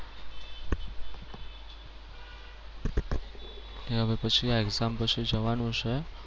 અને હવે પછી આ exam પછી જવાનું છે.